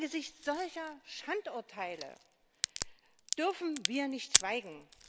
Angesichts solcher Schandurteile dürfen wir nicht schweigen!